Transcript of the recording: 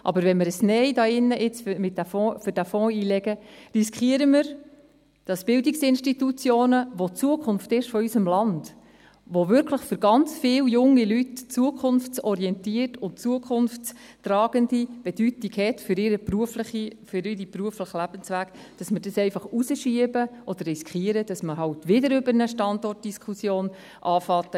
Legen wir aber jetzt hier ein Nein für diesen Fonds ein, riskieren wir, dass Bildungsinstitutionen, welche die Zukunft unseres Landes sind, welche wirklich für ganz viele junge Leute eine zukunftsorientierte und zukunftstragende Bedeutung für ihren beruflichen Lebensweg haben, dass wir dies einfach hinausschieben oder riskieren, dass man halt hier drinnen wieder eine Standortdiskussion anfängt;